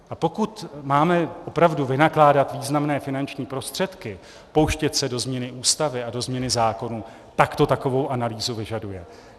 A pokud máme opravdu vynakládat významné finanční prostředky, pouštět se do změny Ústavy a do změny zákonů, pak to takovou analýzu vyžaduje.